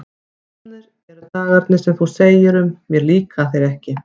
Komnir eru dagarnir sem þú segir um: mér líka þeir ekki.